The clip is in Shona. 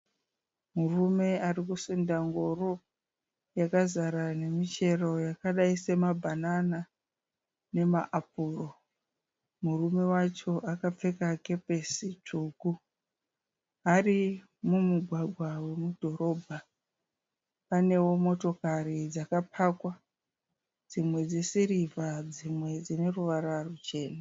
Murume ari kusunda ngoro yakazara nemichero yakadai semabhanana namaapuro. Murume wacho akapfeka kepesi tsvuku ari mumugwagwa womudhorobha. Panewo motokari dzakapakwa, dzimwe dzesirivha, dzimwe dzinoruvara ruchena.